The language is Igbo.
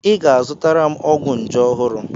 I ga-azụtara m ọgwụ nje ọhụrụ.